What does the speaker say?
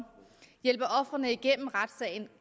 hjælper ofrene igennem retssagen og